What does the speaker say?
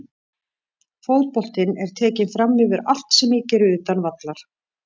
Fótboltinn er tekinn framyfir allt sem ég geri utan vallar.